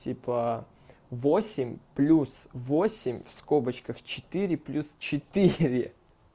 типа восемь плюс восемь в скобочках четыре плюс четыре